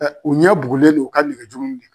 u ɲɛ bugulen don hali v' jugu in de kan.